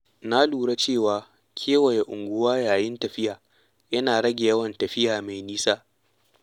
Na lura cewa kewaye unguwa yayin tafiya yana rage yawan tafiya mai nisa.